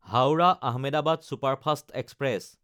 Howrah Ahmedabad superfast express